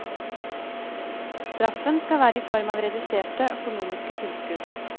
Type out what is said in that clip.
Straffen skal være i form av reduserte økonomiske tilskudd.